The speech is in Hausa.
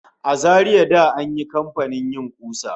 A Zaria da an yi kamfanin yin ƙusa